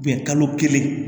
kalo kelen